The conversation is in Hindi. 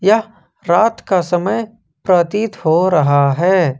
यह रात का समय प्रतीत हो रहा है।